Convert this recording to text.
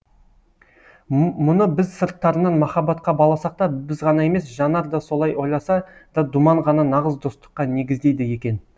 мұны біз сырттарынан махаббатқа баласақ та біз ғана емес жанар да солай ойласа да думан ғана нағыз достыққа негіздейді екен